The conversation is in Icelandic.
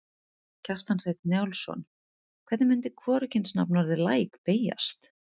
Kjartan Hreinn Njálsson: Hvernig myndi hvorugkynsnafnorðið læk beygjast?